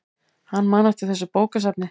Hann man eftir þessu bókasafni.